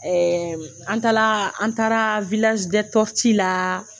an taa la an taara la.